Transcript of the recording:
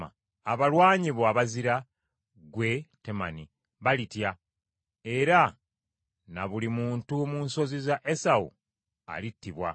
“Abalwanyi bo abazira ggwe, Temani, balitya, era na buli muntu mu nsozi za Esawu alittibwa.